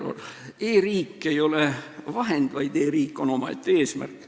E-riik ei ole vahend, vaid e-riik on omaette eesmärk.